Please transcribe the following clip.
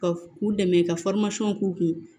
Ka u dɛmɛ ka k'u kun